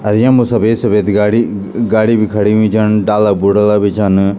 अर यम्मा सफेद सफेद गाडी ग-गाडी बि खड़ी हुईं छन डाला बुर्दा बि छन।